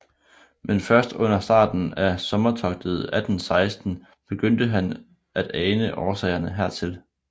Men først under starten af sommertogtet 1816 begyndte han at ane årsagerne hertil